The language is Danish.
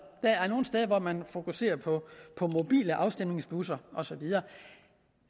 er nogle steder hvor man fokuserer på på mobile afstemningsbusser og så videre